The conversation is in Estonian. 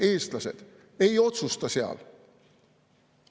Meie, eestlased, ei otsusta seal.